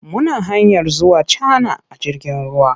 Muna hanyar zuwa Cana a jirgin ruwa.